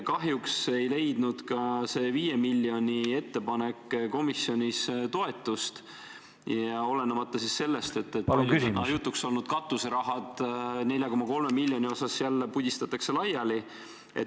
Kahjuks ei leidnud ka see 5 miljoni eraldamise ettepanek komisjonis toetust, olenemata sellest, et siin jutuks olnud katuseraha, 4,3 miljonit, pudistatakse jälle laiali.